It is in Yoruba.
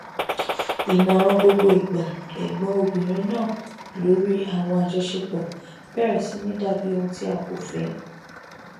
ìmọràn gbogbo ìgbà ẹgbọn obìnrin náà lórí àwọn àjọṣepọ bẹrẹ sì ní dàbí ohun ti a kò fẹ